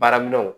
Baaraminɛnw